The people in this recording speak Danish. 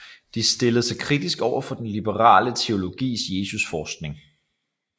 De stillede sig kritisk over for den liberale teologis Jesusforskning